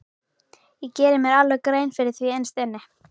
Ég geri mér alveg grein fyrir því innst inni.